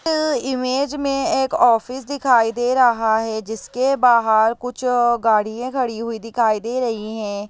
ये इमेज में एक ऑफिस दिखाई दे रहा है जिसके बहार कुछ गाड़िये खड़ी हुई दिखाई दे रही है।